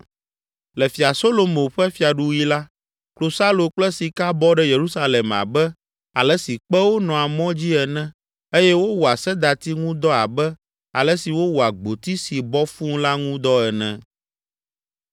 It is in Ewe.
Le Fia Solomo ƒe fiaɖuɣi la, klosalo kple sika bɔ ɖe Yerusalem abe ale si kpewo nɔa mɔ dzi ene eye wowɔa sedati ŋu dɔ abe ale si wowɔa gboti si bɔ fũu la ŋu dɔ ene.